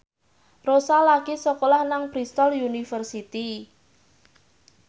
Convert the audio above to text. Rossa lagi sekolah nang Bristol university